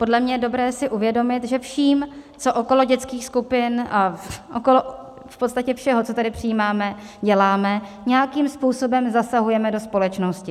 Podle mě je dobré si uvědomit, že vším, co okolo dětských skupin, okolo v podstatě všeho, co tady přijímáme, děláme, nějakým způsobem zasahujeme do společnosti.